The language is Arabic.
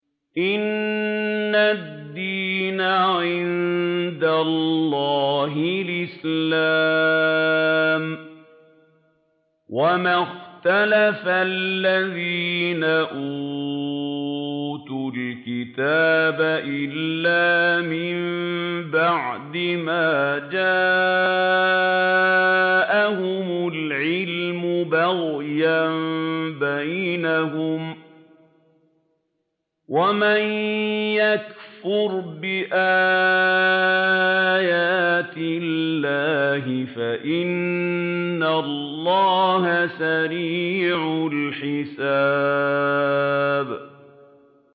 إِنَّ الدِّينَ عِندَ اللَّهِ الْإِسْلَامُ ۗ وَمَا اخْتَلَفَ الَّذِينَ أُوتُوا الْكِتَابَ إِلَّا مِن بَعْدِ مَا جَاءَهُمُ الْعِلْمُ بَغْيًا بَيْنَهُمْ ۗ وَمَن يَكْفُرْ بِآيَاتِ اللَّهِ فَإِنَّ اللَّهَ سَرِيعُ الْحِسَابِ